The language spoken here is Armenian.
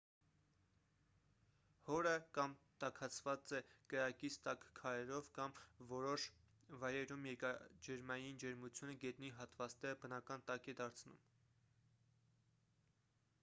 հորը կամ տաքացված է կրակից տաք քարերով կամ որոշ վայրերում երկրաջերմային ջերմությունը գետնի հատվածները բնական տաք է դարձնում